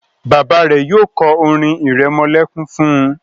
bàbá rẹ yóò ko orin iremolekun fún.